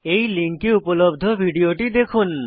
এই লিঙ্কে উপলব্ধ ভিডিওটি দেখুন